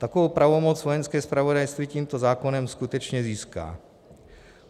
Takovou pravomoc Vojenské zpravodajství tímto zákonem skutečně získá.